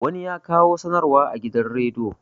wani ya kawo sanarwa a gidan rediyo